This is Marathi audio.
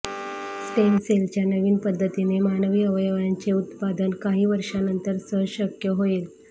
स्टेम सेलच्या नवीन पद्धतीने मानवी अवयवांचे उत्पादन काही वर्षानंतर सहजशक्य होईल